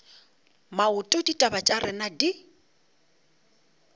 maoto ditaba tša rena di